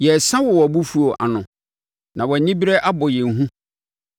Yɛresa wɔ wʼabofuo ano na wʼanibereɛ abɔ yɛn hu.